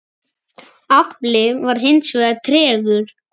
Afli var hins vegar tregur.